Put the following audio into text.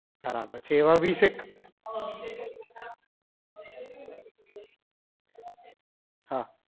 પછી એવા વીસ એક હા